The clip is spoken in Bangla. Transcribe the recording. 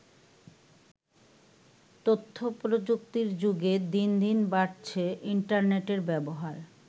তথ্য প্রযুক্তির যুগে দিনদিন বাড়ছে ইন্টারনেটের ব্যবহার।